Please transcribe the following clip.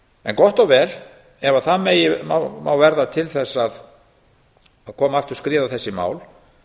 en gott og vel ef það megi verða til þess að koma aftur skriði á þessi mál